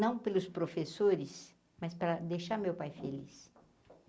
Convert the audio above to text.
Não pelos professores, mas para deixar meu pai feliz.